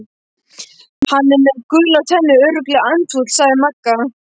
Hann er með gular tennur, örugglega andfúll sagði Magga.